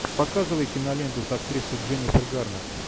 показывай киноленту с актрисой дженнифер гарнер